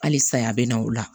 Halisa a bɛ na o la